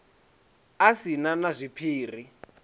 a si na na zwiphiri